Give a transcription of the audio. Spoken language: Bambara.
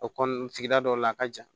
O kɔ sigida dɔ la a ka jan